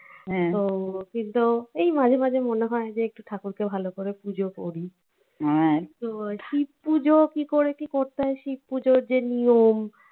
তো কিন্তু এই মাঝে মাঝে মনে হয় যে একটু ঠাকুরকে ভাল করে পুজো করি তো শিব পুজো কি করে কি করতে হয় শিব পুজোর যে নিয়ম